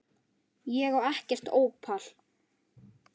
Ég á ekkert ópal